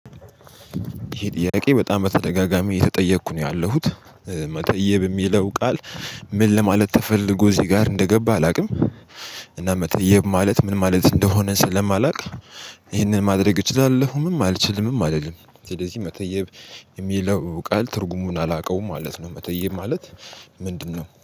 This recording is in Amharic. ይሄ ጥያቄ በጣም በተደጋጋሚ የተጠየኩ ነው ያለሁት። መተየብ የሚለው ቃል። ምን ለማለት ተፈልጎ እዚህ ጋር እንደገባ አላውቅም። እና መጠየብ ማለት ምን ማለት እንደሆነ ስለማላውቅ። ይህንን ማድረግ እችላለሁ ምን አልችልምም አይደለም። ስለዚህ መተየብ የሚለው ቃል ትርጉሙን አላውቀውም ማለት ነው። መተየም ማለት ምንድነው